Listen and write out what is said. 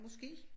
Måske